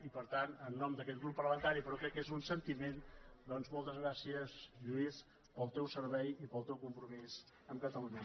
i per tant en nom d’aquest grup parlamentari però crec que és un sentiment doncs moltes gràcies lluís pel teu servei i pel teu compromís amb catalunya